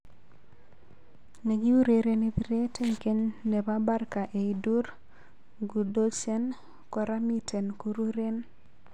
Nekiurereni piret eng geny nepo Barca Eidur Gudjohnsen, kora miten kureren